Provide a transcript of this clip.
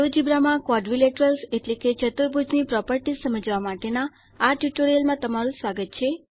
GeoGebra માં quadrilaterals એટલે કે ચતુર્ભુજ ની પ્રોપરટીશ સમજવા માટેના આ ટ્યુટોરીયલમાં તમારું સ્વાગત છે